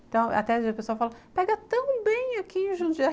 Então, até hoje a pessoa fala, pega tão bem aqui em Jundiaí.